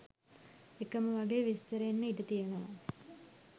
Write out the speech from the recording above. එකම වගේ විස්තර එන්න ඉඩ තියනව